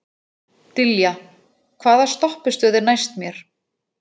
Dilja, hvaða stoppistöð er næst mér?